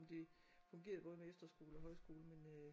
Om det fungerede både med efterskole og med højskole men øh